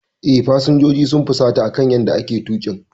Eh, fasinjojin sun fusata akan yanda ake tuƙin.